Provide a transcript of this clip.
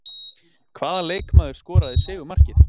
Hvaða leikmaður skoraði sigurmarkið?